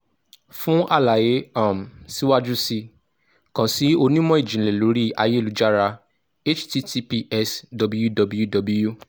fun alaye um siwaju sii kan si onimọ-jinlẹ iṣan lori ayelujara --> https://www